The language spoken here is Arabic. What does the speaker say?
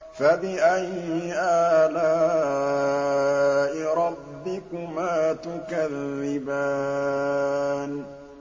فَبِأَيِّ آلَاءِ رَبِّكُمَا تُكَذِّبَانِ